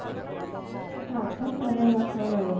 চাহ তাহ খোৱা নাই ৰ; খাম আৰু।